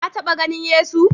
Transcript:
Ka taɓa ganin Yesu?